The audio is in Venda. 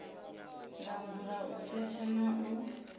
langula u setsha na u